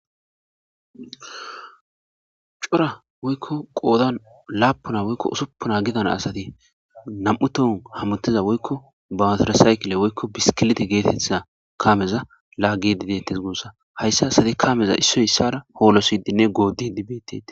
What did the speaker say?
cora woykko qoodan laapuna woykko usuppuna gidana asati nam7u tohon hamutiza woykko bawutara sayikile woykko biskilite geetetha kameza laaggidi dettes guussa hayssa asati kameza issoy issara hoolosidinne goodi biddete